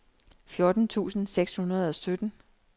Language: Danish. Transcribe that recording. fjorten tusind seks hundrede og sytten